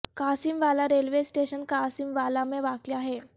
Qasim Wala railway station Qasim Wala میں واقع ہے